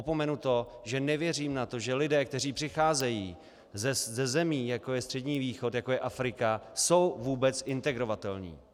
Opomenu to, že nevěřím na to, že lidé, kteří přicházejí ze zemí, jako je Střední východ, jako je Afrika, jsou vůbec integrovatelní.